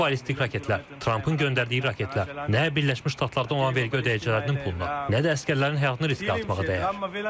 Bu ballistik raketlər, Trampın göndərdiyi raketlər nə Birləşmiş Ştatlarda olan vergi ödəyicilərinin puluna, nə də əsgərlərin həyatını riskə atmağa dəyər.